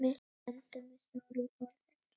Við stöndum við stóru orðin.